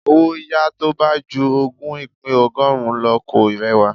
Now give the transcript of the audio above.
Owó yàá tó bá ju ogún ìpín ọgọ́rùn-ún lọ kò rẹwà.